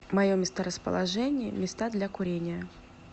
мое месторасположение места для курения